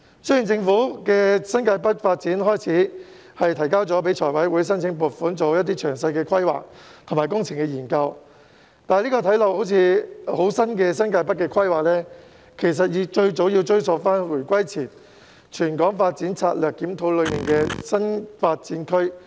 雖然政府已就新界北發展向財務委員會申請撥款，以進行詳細規劃及工程研究，但這個看似新穎的新界北規劃，其實最早可追溯至回歸前的《全港發展策略檢討》所建議的坪輋/打鼓嶺新發展區。